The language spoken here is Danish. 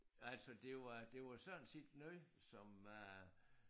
Altså det var det var sådan set noget som øh